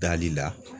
Dali la